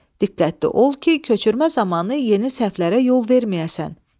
Diqqətli ol ki, köçürmə zamanı yeni səhvlərə yol verməyəsən.